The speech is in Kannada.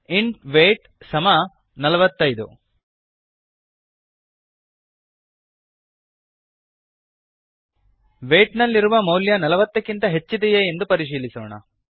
ಇಂಟ್ ವೀಟ್ 45ಇಂಟ್ ವೇಯ್ಟ್ ಸಮ ನಲವತ್ತೈದು ವೇಯ್ಟ್ ನಲ್ಲಿರುವ ಮೌಲ್ಯ 40 ನಲವತ್ತಕ್ಕಿಂತ ಹೆಚ್ಚಿದೆಯೇ ಎಂದು ಪರಿಶೀಲಿಸೋಣ